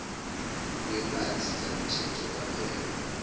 ngemali sizakutjhejwa kwaphela